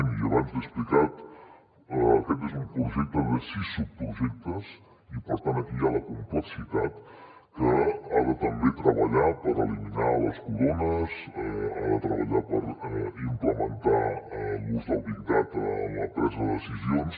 i abans l’hi he explicat aquest és un projecte de sis subprojectes i per tant aquí hi ha la complexitat que ha de també treballar per eliminar les corones ha de treballar per implementar l’ús del big data en la presa de decisions